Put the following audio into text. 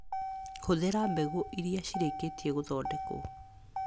Hũthĩra mbegũ iria ciĩrĩkĩtie gũthondekwo.